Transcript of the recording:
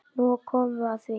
Nú er komið að því.